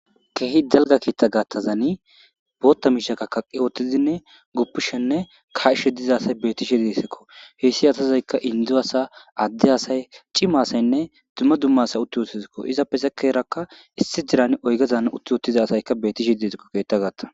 Keehi dalgga keeththezani kaa7ishene guppishe dizayssa be7ashe dayssiko ha asatika inddonne addetako. cima asayine uti utidesiko